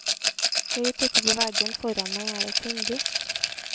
Høyt oppe på veggen foran meg er det et vindu.